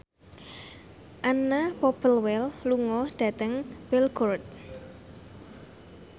Anna Popplewell lunga dhateng Belgorod